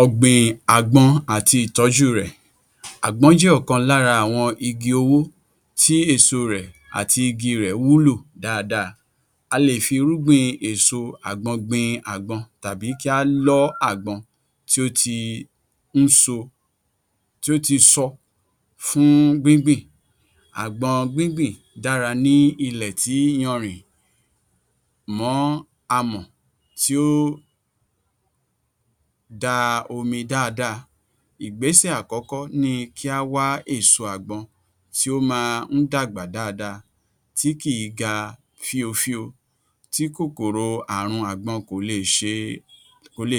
Ọ̀gbìn àgbọn àti ìtọ́jú rẹ̀. Àgbọn jẹ́ ọkan lára àwọn igi owó tí èso rẹ̀ àti igi rẹ̀ wúlò dáadáa, a lè fi irúgbìn èso àgbọn gbin àgbọn tàbí kí á lọ́ àgbọn tí ó ti sọ fún gbíngbìn, àgbọn gbíngbìn dára ní ilẹ̀ tí iyanrìn mọ́ amọ̀ tí ó da omi dáadáa. Ìgbésẹ̀ àkọ́kọ́ ni kí á wá èso àgbọn tí ó máa ń dàgbà dáadáa tí kìí ga fíofío, tí kòkòrò aàrùn àgbọn kò le è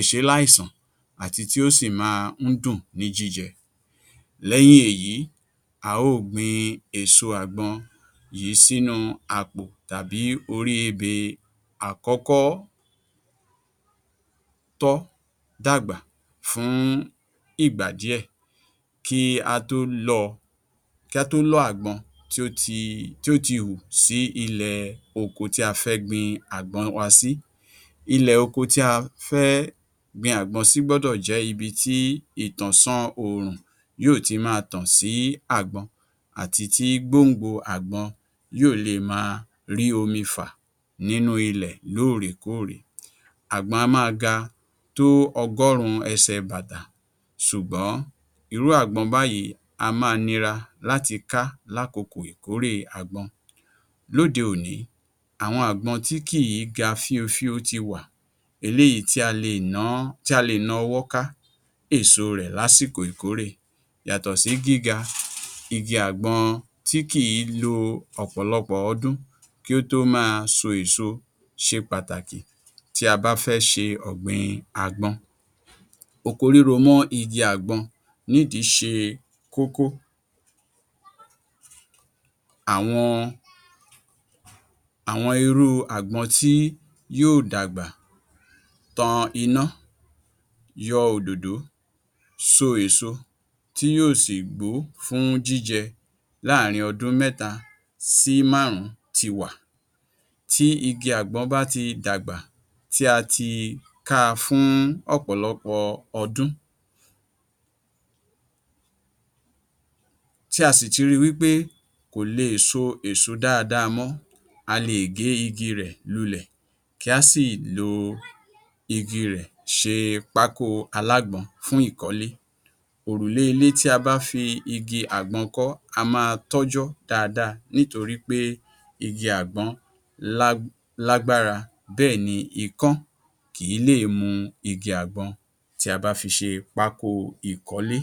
ṣé ní àìsàn àti tí ó sì máa dùn ní jíjẹ lẹ́yìn èyí, a ó ò gbin èso àgbọn yìí sínú àpò tàbí orí ebè àkọ́kọ́ tọ́ dàgbà fún ìgbà díẹ̀ kí á tó lọ́ àgbọn tí ó ti wù sí ilẹ̀ oko tí a fẹ́ gbin àgbọn wa sí, ilẹ̀-oko tí a fẹ́ gbin àgbọn sí gbọ́dọ̀ jẹ́ ibi tí ìtànsán oòrùn yóò ti máa tàn sí àgbọn àti tí gbòǹgbò àgbọn yóò lè máa rí omi fà nínú ilẹ̀ lóòrèkóòrè, àgbọ á máa ga tó ọgọ́rùn-ún ẹsẹ̀ bàtà ṣùgbọ́n irú àgbọn báyìí á máa nira láti ká lákokò ìkórè àgbọn. Lóde-òní, àwọn àgbọn tí kìí ga fíofío ti wà, eléyìí tí a le è na ọwọ́ ká èso rẹ̀ lásìkò ìkórè, yàtọ̀ sí gíga igi àgbọn tí kìí lo ọ̀pọ̀lọpọ̀ ọdún kí ó tó máa so èso ṣe pàtàkì tí a bá fẹ́ ṣe ọgbìn àgbọn. Oko ríro mọ́ igi àgbọn nídìí ṣe kókó, àwọn irú àgbọn tí yóò dàgbà tan iná, yọ òdòdó, so èso tí yóò sì gbó fún jíjẹ láàárin ọdún méta sí márùn-ún ti wà, tí igi àgbọn bá ti dàgbà tí a ti ká a fún ọ̀pọ̀lọpọ̀ ọdún, tí a sì ti ri wí pé kò le è so èso dáadáa mọ́, a le è gé igi rẹ̀ lulẹ̀ kí á sì lo igi rẹ̀ ṣe pákó alágbọn fún ìkọ́lé, òrùlé ilé tí a bá fi igi àgbọn kọ́ á máa tọ́jọ́ dáadáa nítiorí pé igi àgbọn lágbára bẹ́ẹ̀ni ikán kìí lè mu igi àgbọn tí a bá fi ṣe pákó ìkọ́lé.